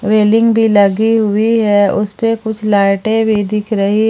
railing भी लगी हुई है उस पे कुछ लाइटें भी दिख रही--